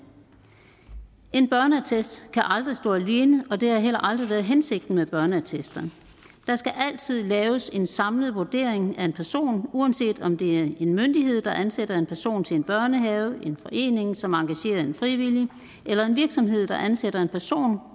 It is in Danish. en børneattest kan aldrig stå alene og det har heller aldrig været hensigten med børneattester der skal altid laves en samlet vurdering af en person uanset om det er en myndighed der ansætter en person til en børnehave en forening som engagerer en frivillig eller en virksomhed der ansætter en person